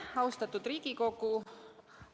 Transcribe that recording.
Austatud Riigikogu!